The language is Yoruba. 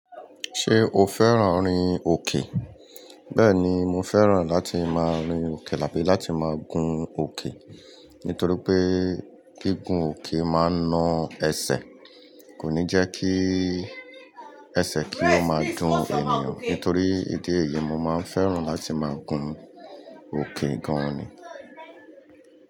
Ṣé o fẹ́ràn orin òkè? Bẹ́ẹ̀ni, mo fẹ́ràn láti máa rin òkè tàbí láti máa gun òkè. Nítorí pé gígùn òkè máa ń na ẹsẹ̀. Kò ní jẹ́ kí ẹsẹ̀ kí ó máa dún ènìyàn. Nítorí ìdí èyí, mo máa ń fẹ́ràn láti máa gun òkè gan ni.